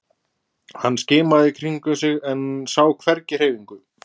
Hann skimaði í kringum sig en sá hvergi hreyfingu.